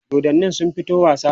dodannin sun fito wasa?